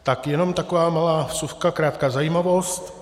Tak jenom taková malá vsuvka, krátká zajímavost.